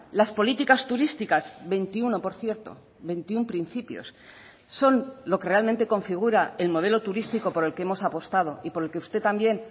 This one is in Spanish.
las políticas turísticas veintiuno por cierto veintiuno principios son lo que realmente configura el modelo turístico por el que hemos apostado y por el que usted también